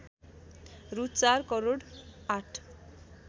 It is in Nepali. रु ४ करोड ८